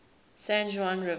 san juan river